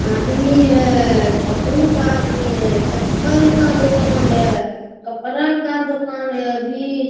आदमी है बहुत आदमी है चप्पल का दुकान है कपड़ा का दुकान है वी --